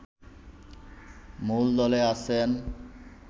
মূলদলে আছেন